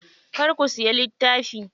Kar ku siya littafi.